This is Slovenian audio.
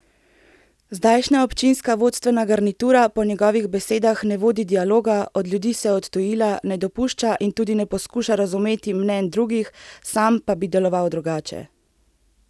Zdajšnja občinska vodstvena garnitura po njegovih besedah ne vodi dialoga, od ljudi se je odtujila, ne dopušča in tudi ne poskuša razmeti mnenj drugih, sam pa bi deloval drugače.